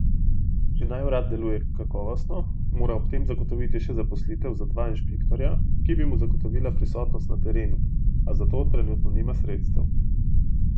Če naj urad deluje kakovostno, mora ob tem zagotoviti še zaposlitev za dva inšpektorja, ki bi mu zagotovila prisotnost na terenu, a za to trenutno nima sredstev.